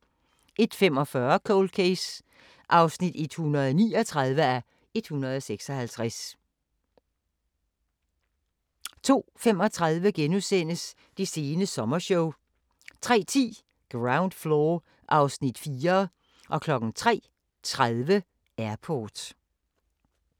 01:45: Cold Case (139:156) 02:35: Det sene sommershow * 03:10: Ground Floor (Afs. 4) 03:30: Airport